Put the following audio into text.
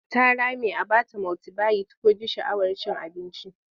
Ta rame a ba ta multibayit ko ji sha'awar cin abinci.